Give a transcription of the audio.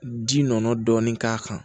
Ji nɔnɔ dɔɔnin k'a kan